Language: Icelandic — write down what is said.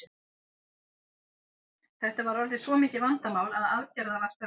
Þetta var orðið svo mikið vandamál að aðgerða var þörf.